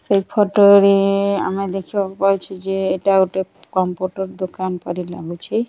ସେ ଫୋଟୋ ରେ ଆମେ ଦେଖିବାକୁ ପାଇଛୁ ଜେ ଏଟା ଗୋଟେ କମ୍ପ୍ୟୁଟର ଦୋକନ ପରି ଲାଗୁଛି।